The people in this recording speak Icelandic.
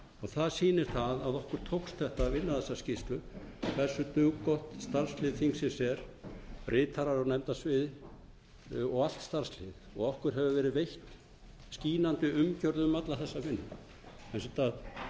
það sýnir að okkur tókst að vinna þessa skýrslu hversu duggott starfslið þingsins er ritarar á nefndasviði og allt starfslið og okkur hefur verið veitt skínandi umgerð um alla þessa hluti